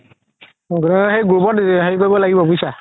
group ত হেৰি কৰিব লাগিব বুজিছা